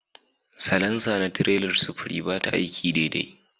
Salansa na tirelar sufuri ba ta aiki daidai